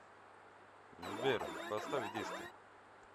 сбер поставь диско